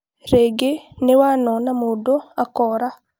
Rĩngĩ nĩ wanona mũndũ akũra